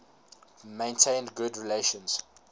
maintained good relations